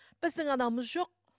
біздің анауымыз жоқ